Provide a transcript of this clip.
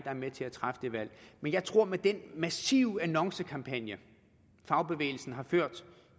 er med til at træffe det valg men jeg tror at med den massive annoncekampagne fagbevægelsen har ført